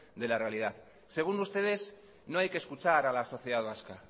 de la realidad según ustedes no hay que escuchar a la sociedad vasca